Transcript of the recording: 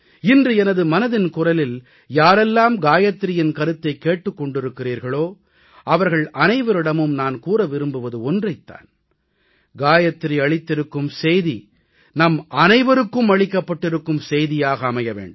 இன்று எனது மனதின் குரலில் யாரெல்லாம் காயத்ரியின் கருத்தைக் கேட்டுக் கொண்டிருக்கிறீர்களோ அவர்கள் அனைவரிடமும் நான் கூற விரும்புவது ஒன்றைத் தான் காயத்ரி அளித்திருக்கும் செய்தி நம் அனைவருக்கும் அளிக்கப்பட்டிருக்கும் செய்தியாக அமைய வேண்டும்